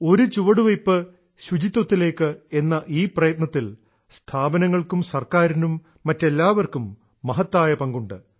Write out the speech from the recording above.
ഒരു ചുവട്വയ്പ് ശുചിത്വത്തിലേയ്ക്ക് എന്ന ഈ പ്രയത്നത്തിൽ സ്ഥാപനങ്ങൾക്കും ഗവണ്മെന്റിനും മറ്റെല്ലാപേർക്കും മഹത്തായ പങ്കുണ്ട്